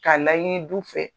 K'a laɲini du fɛ.